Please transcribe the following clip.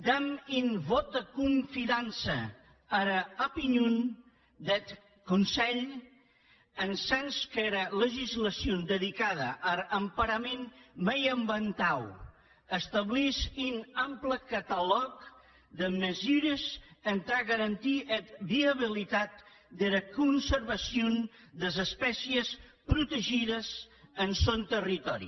dam un vòt de confidança ara opinion deth conselh en sens qu’era legislacion dedicada ar emparament mieiambientau establís un ample catalòg de mesures entà garantir era viabilitat dera conservacion des espècies protegides en sòn territòri